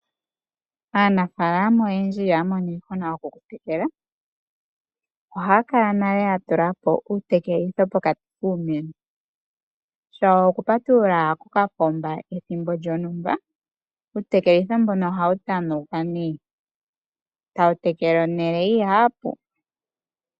Aanafaalama oyendji ihaya mono iihuna yokutekela, ohaya kala nale ya tulapo uutekelitho pokati kiimeno, yo taya patulula kokapomba ethimbo lyontumba, uutekelitho mbono ohawu tanauka nduno tawu tekele ehala enene.